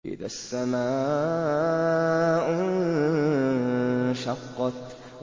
إِذَا السَّمَاءُ انشَقَّتْ